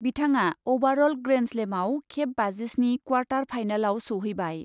बिथाङा अभारअ'ल ग्रेन्डस्लेमआव खेब बाजिस्नि क्वार्टार फाइनालाव सौहैबाय।